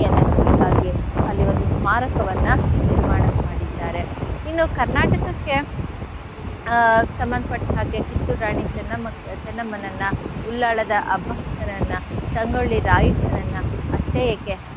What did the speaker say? ನೆನಪಿಗಾಗಿ ಅಲ್ಲಿ ಒಂದು ಸ್ಮಾರಕವನ್ನ ನಿರ್ಮಾಣ ಮಾಡಿದ್ದಾರೆ. ಇನ್ನೂ Karnataka ಕ್ಕೆ ಆ ಸಂಭಂಧ ಪಟ್ಟ ಹಾಗೆ Kittur ರಾಣಿ ಚೆನ್ನಮ್ಮ ಚೆನ್ನಮ್ಮನನ್ನ Ullal ದ ಅಬ್ಬಕ್ಕನನ್ನ ಸಂಗೊಳ್ಳಿ ರಾಯಣ್ಣನನ್ನ ಅಷ್ಟೇ ಏಕೆ,